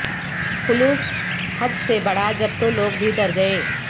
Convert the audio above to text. خلوص حد سے بڑھا جب تو لوگ بھی ڈر گئے